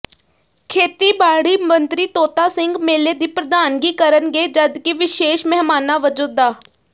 ਖੇਤੀਬਾੜੀ ਮੰਤਰੀ ਤੋਤਾ ਸਿੰਘ ਮੇਲੇ ਦੀ ਪ੍ਰਧਾਨਗੀ ਕਰਨਗੇ ਜਦਕਿ ਵਿਸ਼ੇਸ਼ ਮਹਿਮਾਨਾਂ ਵਜੋਂ ਡਾ